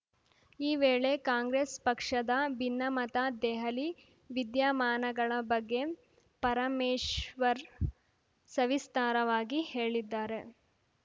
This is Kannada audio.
ಈ ವೇಳೆ ಕಾಂಗ್ರೆಸ್‌ ಪಕ್ಷದ ಭಿನ್ನಮತ ದೆಹಲಿ ವಿದ್ಯಮಾನಗಳ ಬಗ್ಗೆ ಪರಮೇಶ್ವರ್‌ ಸವಿಸ್ತಾರವಾಗಿ ಹೇಳಿದ್ದಾರೆ